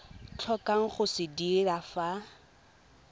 tlhokang go se dira fa